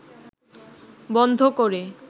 বন্ধ করে